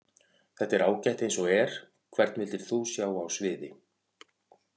Þetta er ágætt eins og er Hvern vildir þú sjá á sviði?